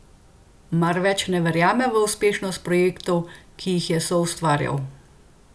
Mar več ne verjame v uspešnost projektov, ki jih je soustvarjal?